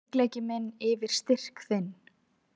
Veikleiki minn yfir styrk þinn.